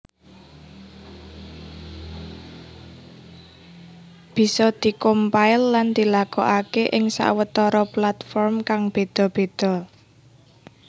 Bisa di compile lan dilakokaké ing sawetara platform kang béda béda